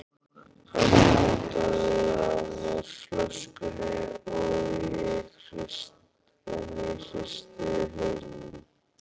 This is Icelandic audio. Hann otaði að mér flöskunni, en ég hristi hausinn.